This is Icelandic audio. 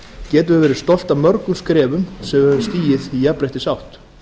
getum við verið stolt af mörgum skrefum sem við höfum stigið í jafnréttisátt